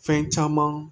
Fɛn caman